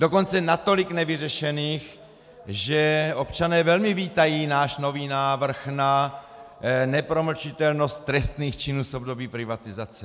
Dokonce natolik nevyřešených, že občané velmi vítají náš nový návrh na nepromlčitelnost trestných činů z období privatizace.